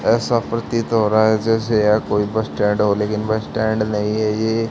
ऐसा प्रतीत हो रहा है जैसे यह कोई बस स्टैंड हो लेकिन बस स्टैंड नहीं है ये --